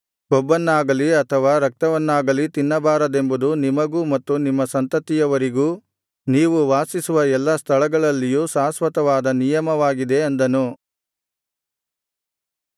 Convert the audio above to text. ಕೊಬ್ಬನ್ನಾಗಲಿ ಅಥವಾ ರಕ್ತವನ್ನಾಗಲಿ ತಿನ್ನಬಾರದೆಂಬುದು ನಿಮಗೂ ಮತ್ತು ನಿಮ್ಮ ಸಂತತಿಯವರಿಗೂ ನೀವು ವಾಸಿಸುವ ಎಲ್ಲಾ ಸ್ಥಳಗಳಲ್ಲಿಯೂ ಶಾಶ್ವತವಾದ ನಿಯಮವಾಗಿದೆ ಅಂದನು